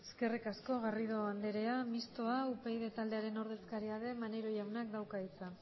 eskerrik asko garrido andrea mistoa upyd taldearen ordezkaria den maneiro jaunak dauka hitza